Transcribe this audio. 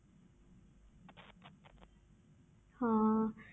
ਹਾਂ